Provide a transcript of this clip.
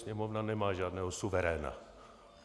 Sněmovna nemá žádného suveréna.